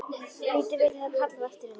Lítur við þegar það er kallað á eftir henni.